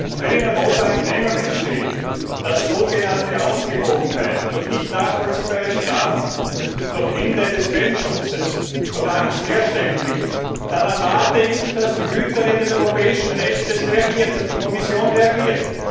Und wenn in Europa ein Gremium entsteht, das sogenannte Ausgewogenheit durch nicht nachvollziehbare Strafen, durch das Ende des Quellenschutzes, durch Angst herstellen will, dann erwarte ich, dass die Hüterin des europäischen Rechts die Kommission reagiert.